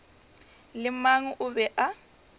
le mang o be a